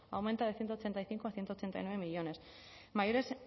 aumenta de ciento ochenta y cinco a ciento ochenta y nueve millónes mayores